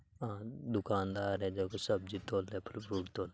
आ दुकानदार है जको सब्जी तोले फल फ्रूट तोले।